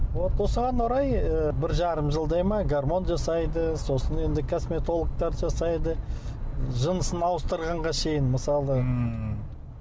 вот осыған орай ы бір жарым жылдай ма гармон жасайды сосын енді косметологтар жасайды жынысын ауыстырғанға шейін мысалы ммм